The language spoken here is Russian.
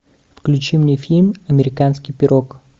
включи мне фильм американский пирог